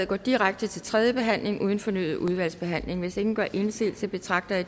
går direkte til tredje behandling uden fornyet udvalgsbehandling hvis ingen gør indsigelse betragter jeg